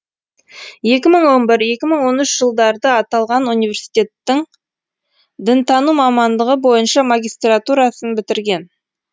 екі мың он бір екі мың он үш жылдарда аталған университеттің дінтану мамандығы бойынша магистратурасын бітірген